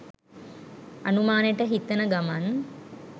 අනුමානෙට හිතන ගමන්